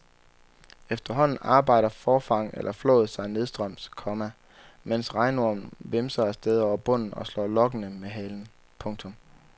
Efterhånden arbejder forfang eller flåd sig nedstrøms, komma mens regnormen vimser afsted over bunden og slår lokkende med halen. punktum